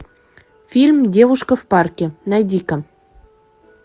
фильм девушка в парке найди ка